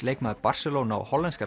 leikmaður Barcelona og hollenska